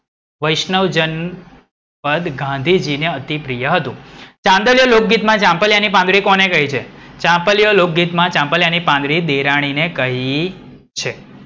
વૈષ્ણવજન પદ ગાંધીજી ને અતિપ્રિય હતું. ચાંદલીઓ લોકગીતમાં ચાંપલિયા ની પાંદડી કોને કહી છે? ચાંદલીઓ લોકગીતમાં ચાંપલિયા ની પાંદડી દેરાણીને કહી છે.